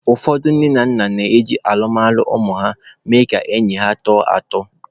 Ụfọdụ nne na nna na-eji alụmalụ ụmụ ha eme ka enyi ha tọọ atọ.